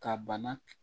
Ka bana